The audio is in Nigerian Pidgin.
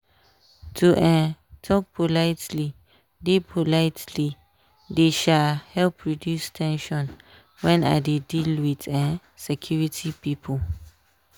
to um talk politely dey politely dey um help reduce ten sion when i dey deal with um security people.